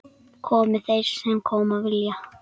Komi þeir sem koma vilja.